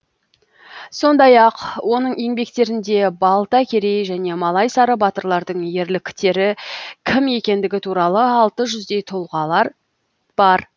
сондай ақ оның еңбектерінде балтакерей және малайсары батырлардың ерліктері кім екендігі туралы алты жүздей тұлғалар бар